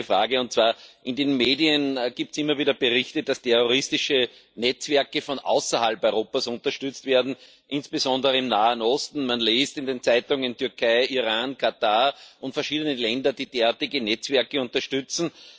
Ich hätte eine Frage In den Medien gibt es immer wieder Berichte, dass terroristische Netzwerke von außerhalb Europas unterstützt werden, insbesondere im Nahen Osten. Man liest in den Zeitungen, dass die Türkei, Iran, Katar und verschiedene Länder derartige Netzwerke unterstützen.